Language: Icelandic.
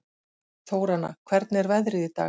Þóranna, hvernig er veðrið í dag?